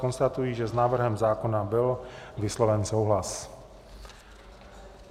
Konstatuji, že s návrhem zákona byl vysloven souhlas.